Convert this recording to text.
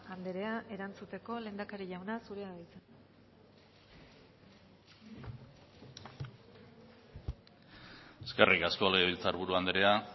anderea erantzuteko lehendakari jauna zurea da hitza eskerrik asko legebiltzar buru anderea